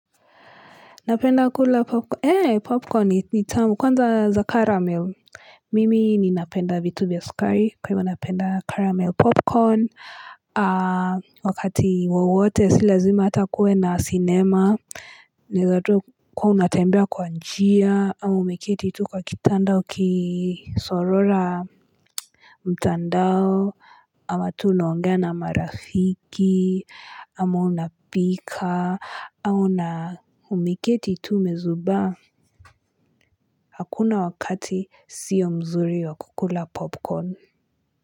Napenda kula popcorn ni tamu kwanza za caramel. Mimi ni napenda vitu vya sukari kwa hivo napenda caramel popcorn. Wakati wawote si lazima hata kuwe na cinema. Naeza tu kuwa unatembea kwa njia, ama umeketi tu kwa kitanda ukisorora mtandao, ama tu unaongea na marafiki, ama unapika, au na umeketi tu umezubaa hakuna wakati sio mzuri wa kukula popcorn.